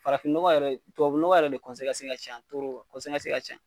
Farafin nɔgɔ yɛrɛ tubabu nɔgɔ yɛrɛ de ka can , ka can.